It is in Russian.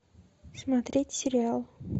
смотреть сериал